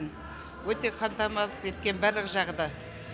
өте қамтамасыз еткен барлық жағы да